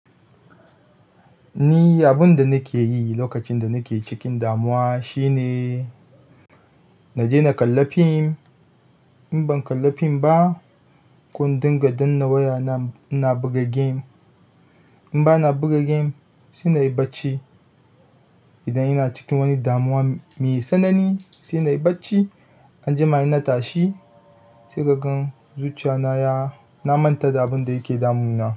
Ni abun da nake yi lokacin da nake cikin damuwa shi ne. Naje na kalla fim. In ban kalla fim ba, ko in dinga danna wayana, ina buga game. In ba na buga game sai na yi bacci. Idan ina cikin wani damuwa mai tsanani sai nayi bacci, anjima idan na tashi sai kaga zuciyana ya-- na manta da abun da yake damuna.